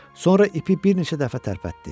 Sonra ipi bir neçə dəfə tərpətdi.